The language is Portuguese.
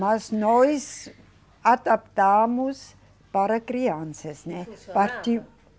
Mas nós adaptamos para crianças, né? Funcionava?